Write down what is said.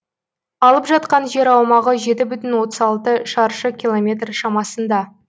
алып жатқан жер аумағы жеті бүтін отыз алты шаршы километр шамасында